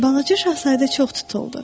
Balaca Şahzadə çox tutuldu.